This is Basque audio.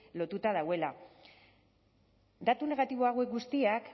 lotuta dagoela datu negatibo hauek guztiak